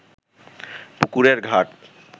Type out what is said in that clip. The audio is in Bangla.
পুকুরের ঘাট